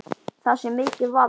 Það sé mikið vald.